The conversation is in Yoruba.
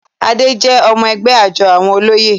Adé jẹ́ ọmọ-ẹgbẹ́ àjọ àwọn olóyè.